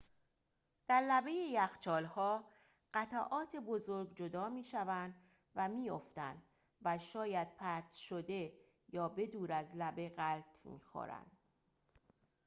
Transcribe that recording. در لبه یخچال‌ها قطعات بزرگ جدا می‌شوند و می‌افتند و شاید پرت شده یا به دور از لبه غلت می‌خورند